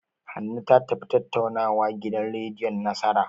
Hanne ta tafi tattaunawa gidan rediyon Nasara.